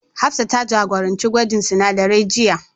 Hafsah ta jagoranci gwajin sinadarai jiya.